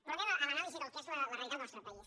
però anem a l’anàlisi del que és la realitat del nostre país